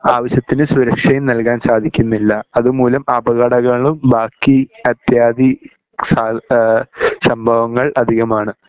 ആവിശ്യത്തിന് സുരക്ഷയും നൽകാൻ സാധിക്കുന്നില്ല അതുമൂലം അപകടങ്ങളും ബാക്കി അത്യാദി ഈഹ് സംഭവങ്ങൾ അധികമാണ്